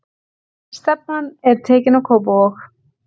Stefnan er tekin á Kópavog.